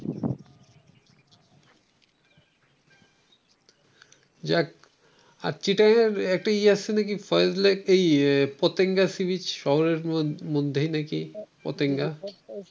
যাক চিটাংগের একটি ই আছে নাকি ফয়েজ লেক । পতেঙ্গা সিরিজ শহরের মধ্যেই নাকি পতেঙ্গা ।